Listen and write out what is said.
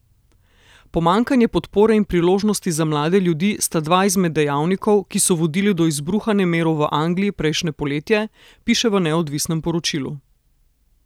Pomanjkanje podpore in priložnosti za mlade ljudi sta dva izmed dejavnikov, ki so vodili do izbruha nemirov v Angliji prejšnje poletje, piše v neodvisnem poročilu.